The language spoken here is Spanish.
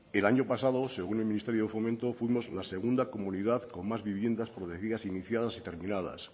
el año pasado según el ministerio de fomento fuimos la segunda comunidad con más viviendas protegidas iniciadas y terminadas